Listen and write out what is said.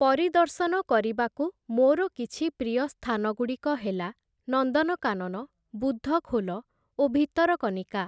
ପରିଦର୍ଶନ କରିବାକୁ ମୋର କିଛି ପ୍ରିୟ ସ୍ଥାନଗୁଡ଼ିକ ହେଲା ନନ୍ଦନକାନନ, ବୁଦ୍ଧଖୋଲ ଓ ଭିତରକନିକା ।